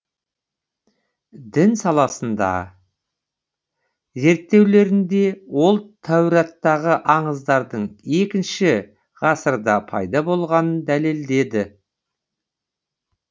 дін саласыдағы зерттеулерінде ол тәураттағы аңыздардың екінші ғасырда пайда болғанын дәлелдеді